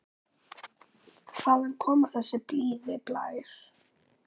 Hvaðan kom þessi blíði blær?